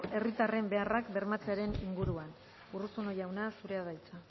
herritarren beharrak bermatzearen inguruan urruzuno jauna zurea da hitza